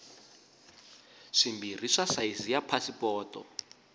swimbirhi swa sayizi ya pasipoto